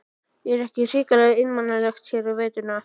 Er ekki hrikalega einmanalegt hér á veturna?